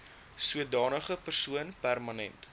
sodanige persoon permanent